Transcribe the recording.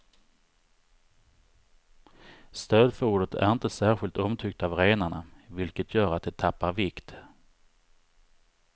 Stödfodret är inte särskilt omtyckt av renarna, vilket gör att de tappar vikt.